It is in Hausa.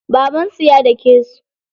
Babansu ya dake su.